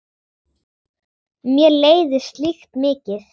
Mér leiðist slíkt mikið.